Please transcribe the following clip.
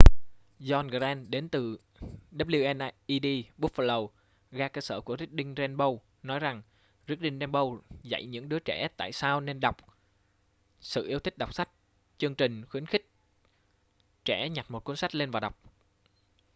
john grant đến từ wned buffalo ga cơ sở của reading rainbow nói rằng reading rainbow dạy những đưa trẻ tại sao nên đọc,...sự yêu thích đọc sách - [chương trình] khuyến khích trẻ nhặt một cuốn sách lên và đọc.